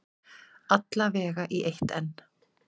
Alla vega í eitt enn.